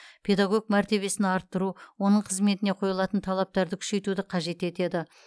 педагог мәртебесін арттыру оның қызметіне қойылатын талаптарды күшейтуді қажет етеді